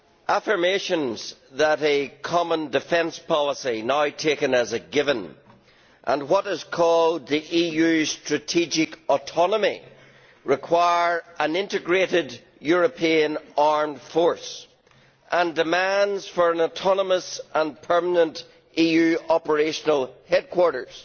Affirmations that a common defence policy now taken as a given and what is called the EU's strategic autonomy, require an integrated European armed force, and demands for an autonomous and permanent EU operational headquarters